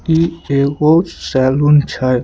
ई एगो सैलून छै।